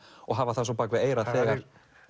og hafa það bak við eyrað þegar